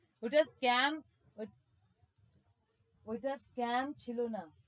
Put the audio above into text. ওইটা scam ওইট ওইটা scame ছিলো না